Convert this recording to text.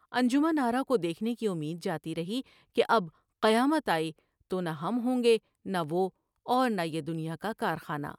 انجمن آرا کو دیکھنے کی امید جاتی رہی کہ اب قیامت آئی تو نہ ہم ہوں گے نہ وہ اور نہ ہی دنیا کا کارخانہ ۔